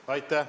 Aitäh!